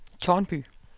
Tårnby